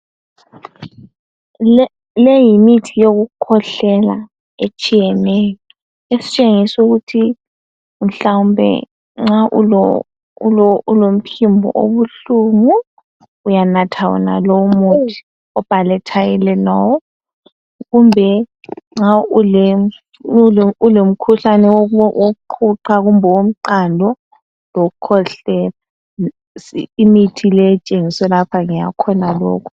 Le yimithi yokukhwehlela etshiyeneyo esitshengisa ukuthi mhlawumbe nxa ulomphimbo obuhlungu uyanatha wonalo umuthi obhalwe tylenol kumbe nxa ule ulomkhuhlane woqhuqho kumbe owomqando lokukhwehlela imithi ke etshengiswe lapha ngeyakhonalokho.